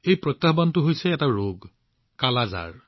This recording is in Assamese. এই প্ৰত্যাহ্বান এই ৰোগটো হৈছে কালা আজাৰ